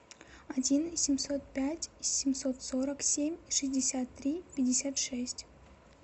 один семьсот пять семьсот сорок семь шестьдесят три пятьдесят шесть